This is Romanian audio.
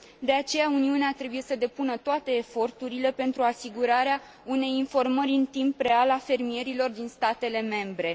De aceea, Uniunea trebuie să depună toate eforturile pentru asigurarea unei informări în timp real a fermierilor din statele membre.